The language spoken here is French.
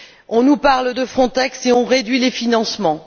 On nous parle de Frontex et on réduit les financements.